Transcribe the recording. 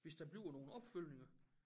Hvis der bliver nogen opfølgninger